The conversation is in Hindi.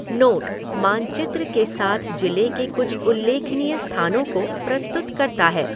नोटः मानचित्र के साथ जिले के कुछ उल्लेखनीय स्थानों को प्रस्तुत करता है।